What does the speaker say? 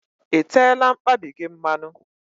I teela mkpabi gị mmanụ?